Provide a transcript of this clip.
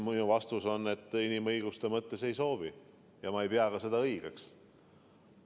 Minu vastus on, et inimõiguste mõttes ei soovi ja seda polekski õige teha.